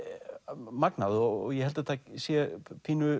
magnað og ég held að þetta sé pínu